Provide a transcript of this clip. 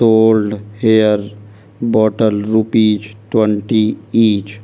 Hair bottle rupees twenty each.